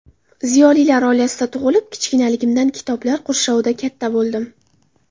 Ziyolilar oilasida tug‘ilib, kichikligimdan kitoblar qurshovida katta bo‘ldim.